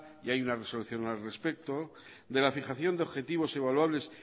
y hay una resolución al respecto de la fijación de objetivos evaluables